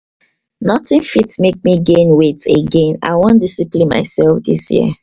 notin fit mek me gain weight again, i wan discipline mysef dis year